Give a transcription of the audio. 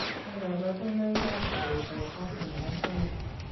Nee kabarunoikab koroitoab Bartter nebo somok?